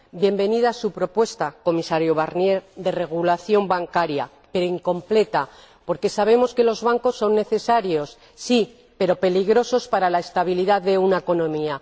Bienvenida su propuesta, Comisario Barnier, de regulación bancaria, pero incompleta porque sabemos que los bancos son necesarios, sí, pero peligrosos para la estabilidad de una economía.